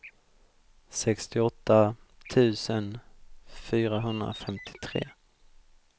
sextioåtta tusen fyrahundrafemtiotre